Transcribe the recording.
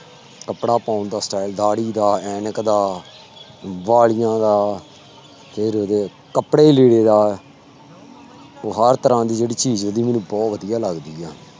ਕੱਪੜਾ ਪਾਉਣ ਦਾ style ਦਾੜੀ ਦਾ, ਐਨਕ ਦਾ, ਬਾਲੀਆਂ ਦਾ ਫਿਰ ਉਹਦੇ ਕੱਪੜੇ ਲੀੜੇ ਦਾ ਉਹ ਹਰ ਤਰ੍ਹਾਂ ਦੀ ਜਿਹੜੀ ਚੀਜ਼ ਉਹਦੀ ਮੈਨੂੰ ਬਹੁਤ ਵਧੀਆ ਲੱਗਦੀ ਆ।